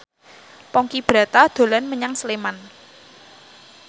Ponky Brata dolan menyang Sleman